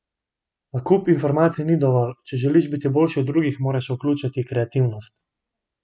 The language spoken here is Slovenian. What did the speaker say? A kup informacij ni dovolj: 'Če želiš biti boljši od drugih, moraš vključiti kreativnost.